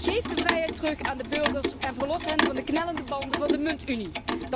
Geef de vrijheid terug aan de burgers en verlos hen van de knellende banden van de muntunie.